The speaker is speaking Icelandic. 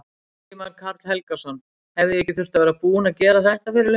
Ingimar Karl Helgason: Hefði ekki þurft að vera búið að gera þetta fyrir löngu?